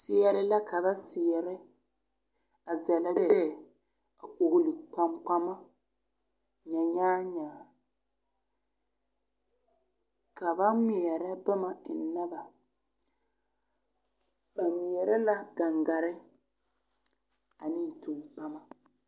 Seɛre la ka ba seɛrɛ a zanna lee a oɡile kpaŋkpama nyanyaanyaa ka ba ŋmeɛrɛ boma ennɛ ba ba ŋmeɛrɛ la ɡaŋɡare ane tumpama.